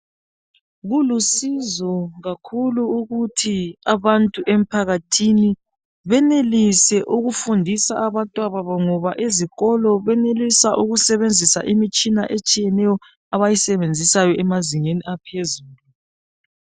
Kulusizo kakhulu ukuthi abantu emphakathini benelise ukufundisa abantwababo ngoba izikolo benelisa ukusebenzisa imitshina etshiyeneyo abayisebenzisayo emazingeni aphezulu.